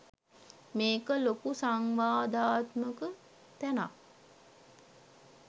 මේක ලොකු සංවාදාත්මක තැනක්